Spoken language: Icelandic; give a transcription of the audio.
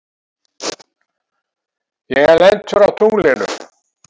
Ég er lentur á tunglinu.